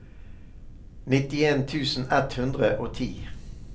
nittien tusen ett hundre og ti